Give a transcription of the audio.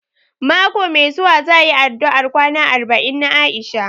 Mako mai zuwa za a yi addu'ar kwana arba'in na Aisha